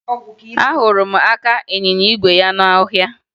Ahụrụ m aka ịnyịnya igwe ya n'ọhịa